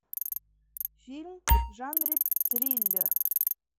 фильм в жанре триллер